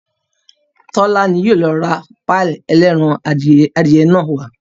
Tọ́lá ni yóò lọ ra páì ẹlẹ́ran adìyẹ náà wá